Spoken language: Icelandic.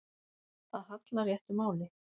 Að halla réttu máli